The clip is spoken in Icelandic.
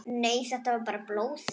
Nei, þetta er varla blóð.